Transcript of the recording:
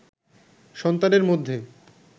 সন্তানের মধ্যে